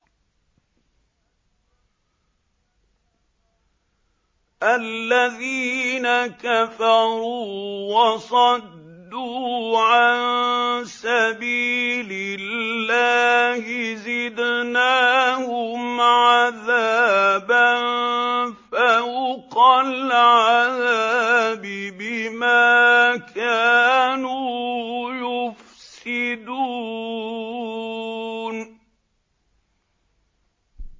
الَّذِينَ كَفَرُوا وَصَدُّوا عَن سَبِيلِ اللَّهِ زِدْنَاهُمْ عَذَابًا فَوْقَ الْعَذَابِ بِمَا كَانُوا يُفْسِدُونَ